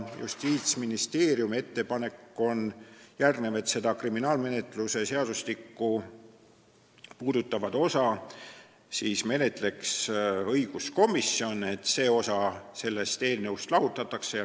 Justiitsministeeriumi ettepanek on, et kriminaalmenetluse seadustikku puudutavat osa menetleks õiguskomisjon, et see osa tuleks sellest eelnõust lahutada.